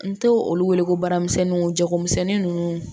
N to olu wele ko baaramisɛnninw jagomisɛnnin ninnu